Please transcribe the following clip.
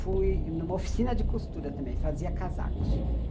Fui numa oficina de costura também, fazia casacos.